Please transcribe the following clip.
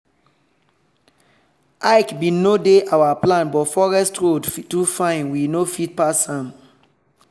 hike bin no dey our plan but forest road too fine we no fit pass am.